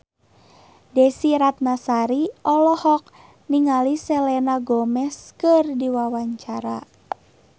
Desy Ratnasari olohok ningali Selena Gomez keur diwawancara